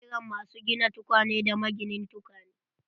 Ana kiran masu gina tukwane da maginin tukwane.